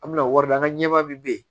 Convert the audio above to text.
An bɛna wari di an ka ɲɛmaa min bɛ yen